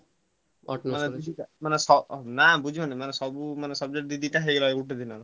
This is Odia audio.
ନା ମାନେ ବୁଝିପାରୁନ ସବୁ subject ମିଶି ହେଇ ଗଲା ଦିଦିନ।